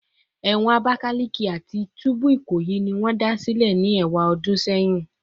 Ewon Abakaleke ati tubu Ikoyi ni won da sile ni ewadun seyin